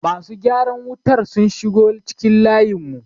masu gyaran wutar sun shigo cikin layinmu